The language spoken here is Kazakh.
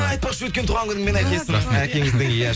айтпақша өткен туғаны күнімен әкесінің әкеңіздің иә